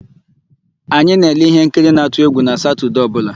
Anyị na-ele íhénkiri na-atụ égwù na Satọdee ọbụla.